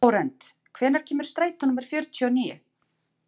Flórent, hvenær kemur strætó númer fjörutíu og níu?